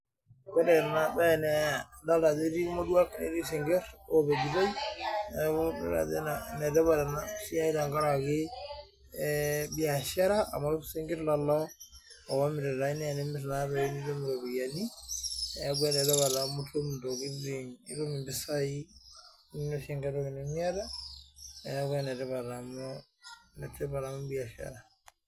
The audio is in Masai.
Ore ena bae naa idil ajo etii irmoruak netii isnkir oopejitoi neaku idol ajo enetipat ena siai tenkaraki eee biashara amu isinkir leo oomiritai naa tenimir naa toi nitum iropiyiani niaku enetipat amu itum intokitin itum impisai ninosie enkaitoki ninmiata. Niaku enetipat amuu biashara